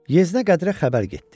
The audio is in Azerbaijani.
Yeznə Qədirə xəbər getdi.